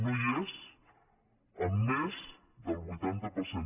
no hi és amb més del vuitanta per cent